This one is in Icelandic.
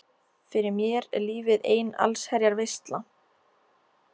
Fyrir mér er lífið ein allsherjar veisla.